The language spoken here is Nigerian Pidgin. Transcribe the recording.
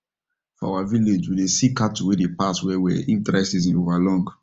for our village we dey see cattle wen dey pass well well if dry season over long